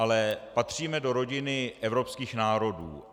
Ale patříme do rodiny evropských národů.